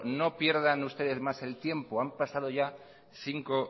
no pierdan ustedes más el tiempo han pasado ya cinco